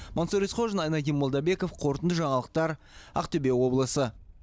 мансұр есқожин айнадин молдабеков қорытынды жаңалықтар ақтөбе облысы